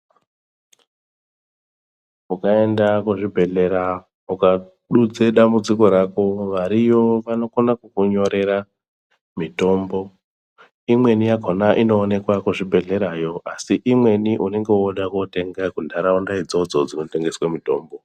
Ukaenda kuzvibhedhlera ukadudze dambudziko rako variyo vanokona kukunyorera mitombo imweni yakhona inoonekwa kuzvibhehlerayo asi imweni unenge woda kutenga kuntaraunda idzodzo dzinotengeswa mitombo.